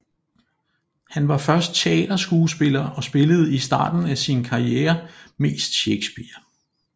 Han var først teaterskuespiller og spillede i starten af sin karriere mest Shakespeare